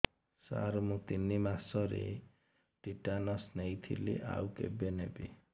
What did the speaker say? ସାର ମୁ ତିନି ମାସରେ ଟିଟାନସ ନେଇଥିଲି ଆଉ କେବେ ନେବି